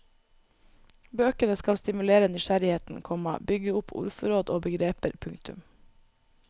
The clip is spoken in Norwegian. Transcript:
Bøkene skal stimulere nysgjerrigheten, komma bygge opp ordforråd og begreper. punktum